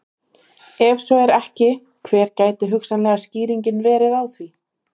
Ef svo er ekki hver gæti hugsanleg skýring verið á því?